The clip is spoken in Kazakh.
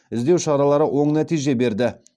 іздеу шаралары оң нәтиже берді